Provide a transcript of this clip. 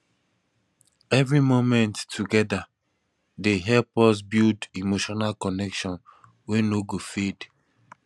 every moment together dey help us build emotional connection wey no go fade